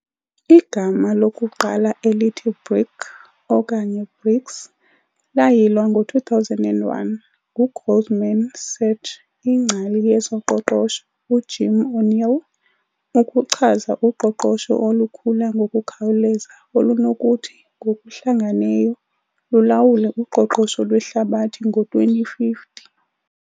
Igama lokuqala elithi "BRIC", okanye "BRICs", layilwa ngo-2001 nguGoldman Sachs ingcali yezoqoqosho uJim O'Neill ukuchaza uqoqosho olukhula ngokukhawuleza olunokuthi ngokuhlangeneyo lulawule uqoqosho lwehlabathi ngo-2050.